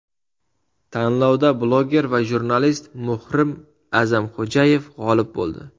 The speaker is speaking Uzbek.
Tanlovda blogger va jurnalist Muhrim A’zamxo‘jayev g‘olib bo‘ldi.